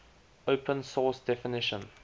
open source definition